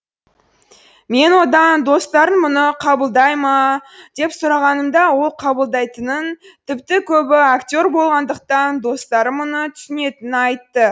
мен одан достарың мұны қабылдай ма деп сұрағанымда ол қабылдайтынын тіпті көбі актер болғандықтан достары мұны түсінетінін айтты